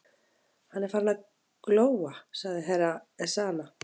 Hann er farinn að glóa, sagði Herra Ezana.